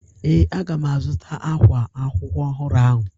Ee, a ga m azụta ákwá akwụkwọ ọhụrụ ahụ.